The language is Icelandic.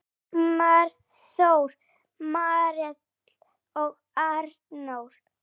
Sigmar Þór, Marel og Arnór.